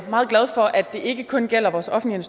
meget glad for at det ikke kun gælder vores offentlige